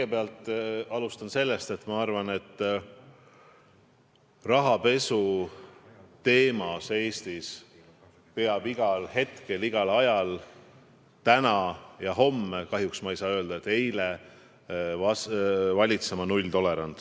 Ma alustan sellest, et ma arvan, et rahapesu teemal peab Eestis igal hetkel, igal ajal, täna ja homme – kahjuks ma ei saa öelda, et eile – valitsema nulltolerants.